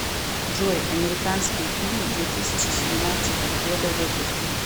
джой американские фильм две тысячи семнадцатого года выпуска